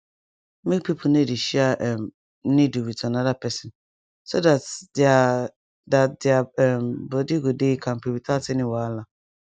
make people no dey share um needle with another person so that their that their um body go dey kampe without any wahala